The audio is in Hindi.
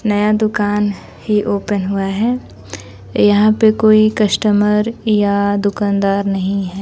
नया दुकान ही ओपन हुआ है यहां पे कोई कस्टमर या दुकानदार नहीं है।